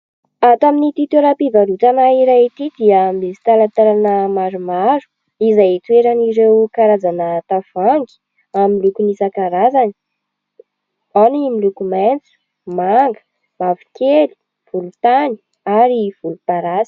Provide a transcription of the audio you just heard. Ato amin'ity toeram-pivarotana iray ity dia misy talantalana maromaro izay itoeran'ireo karazana tavoahangy amin'ny lokony isan-karazany : ao ny miloko maitso, manga, mavokely, volontany ary volomparasy.